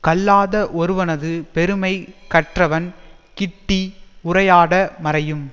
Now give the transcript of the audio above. கல்லாத ஒருவனது பெருமை கற்றவன் கிட்டி உரையாட மறையும்